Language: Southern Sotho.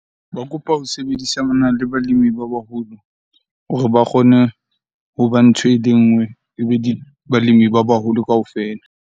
Ba kopa ho sebedisa le balemi ba baholo hore ba kgone hoba ntho ele nngwe, ebe balemi ba baholo kaofela.